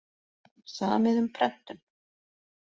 Samið um prentun